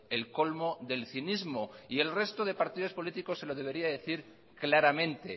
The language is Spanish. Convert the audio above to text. el colmo del cinismo y el resto de partidos políticos se lo debería de decir claramente